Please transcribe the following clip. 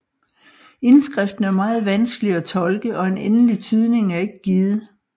Indskriften er meget vanskelig at tolke og en endelig tydning er ikke givet